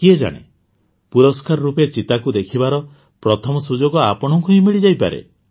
କିଏ ଜାଣେ ପୁରସ୍କାର ରୂପେ ଚିତାଙ୍କୁ ଦେଖିବାର ପ୍ରଥମ ସୁଯୋଗ ଆପଣଙ୍କୁ ହିଁ ମିଳିଯାଇପାରେ